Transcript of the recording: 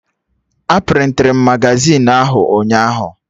A prịntịrụ Magazịn ahụ ụnyaahụ